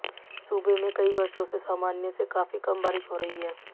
सूबे में कई वर्षों से सामान्य से काफी कम बारिश हो रही है